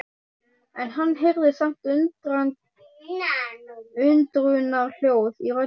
En hann heyrði samt undrunarhljóð í röddinni.